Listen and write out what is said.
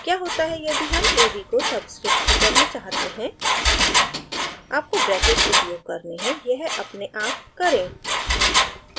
क्या होता है यदि हम ab को subscript की तरह चाहते हैं आपको ब्रैकेट्स उपयोग करने हैं यह अपने आप करें